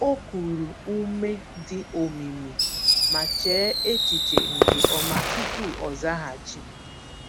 O kuru ume dị omimi, ma chee echiche nke ọma tupu ọ zaghachi.